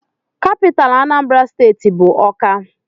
Capitalú Anambra steeti bụ Awka.